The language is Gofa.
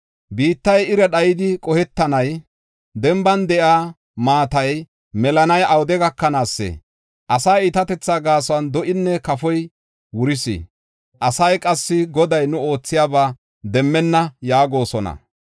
Biittay ira dhayidi qohetannay, denban de7iya maatay melanay awude gakanaasee? Asaa iitatethaa gaason, do7inne kafoy wuris. Asay qassi, “Goday nu oothiyaba demmenna” yaagosona.